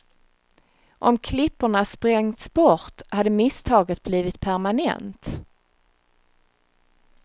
Om klipporna spängts bort hade misstaget blivit permanent.